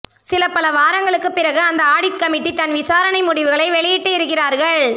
சில பல வாரங்களுக்குப் பிறகு இந்த ஆடிட் கமிட்டி தன் விசாரணை முடிவுகளை வெளியிட்டு இருக்கிறார்கள்